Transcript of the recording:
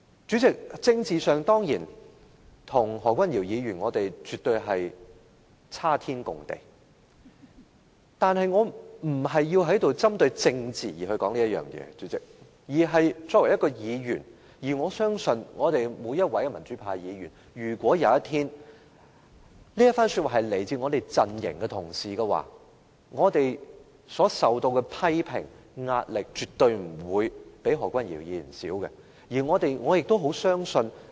主席，在政治上，我們與何君堯議員絕對有雲泥之別，但我並非要針對政治而在此說出這一番話，而是作為一位議員，我相信每一位民主派議員在這一番話一旦出自我們陣營的同事時，我們所受到的批評和壓力絕對不會亞於何君堯議員。